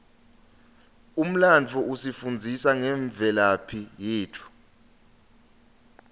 umlandvo usifundzisa ngemvelaphi yetfu